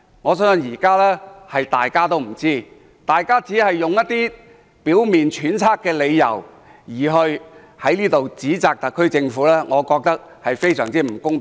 我相信現在大家都不知道，反對派議員只是用一些表面揣測的理由在此指責特區政府，我覺得非常不公平。